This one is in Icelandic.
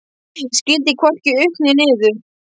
Ég skildi hvorki upp né niður.